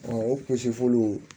o kusilu